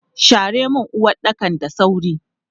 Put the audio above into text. Share mun uwaɗɗakan da sauri!